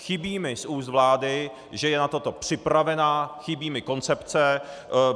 Chybí mi z úst vlády, že je na to připravena, chybí mi koncepce.